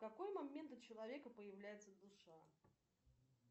в какой момент у человека появляется душа